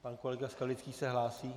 Pan kolega Skalický se hlásí?